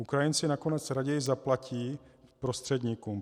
Ukrajinci nakonec raději zaplatí prostředníkům.